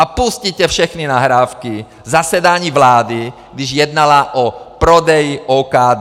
A pusťte všechny nahrávky zasedání vlády, když jednala o prodeji OKD.